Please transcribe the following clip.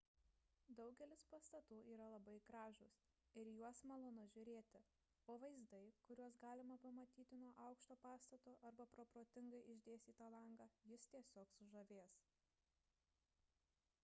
daugelis pastatų yra labai gražūs ir į juos malonu žiūrėti o vaizdai kuriuos galima pamatyti nuo aukšto pastato arba pro protingai išdėstytą langą jus tiesiog sužavės